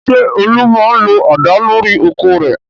Ṣé Olú máa ń lo àdá lórí oko rẹ̀?